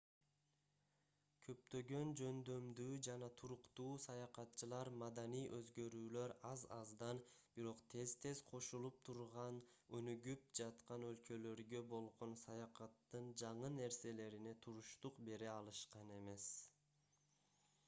көптөгөн жөндөмдүү жана туруктуу саякатчылар маданий өзгөрүүлөр аз-аздан бирок тез-тез кошулуп турган өнүгүп жаткан өлкөлөргө болгон саякаттын жаңы нерселерине туруштук бере алышкан эмес